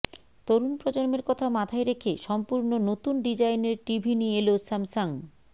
তরুন প্রজন্মের কথা মাথায় রেখে সম্পূর্ণ নতুন ডিজাইনের টিভি নিয়ে এল স্যামসাং